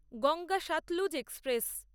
Ganga Sutlej express